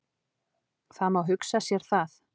Það má hugsa sér það.